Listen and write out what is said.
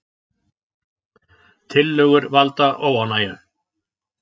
Tillögur valda óánægju